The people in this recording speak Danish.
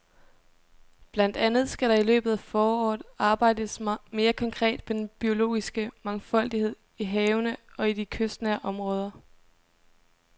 Blandt andet skal der i løbet af foråret arbejdes mere konkret med den biologiske mangfoldighed i havene og i de kystnære områder.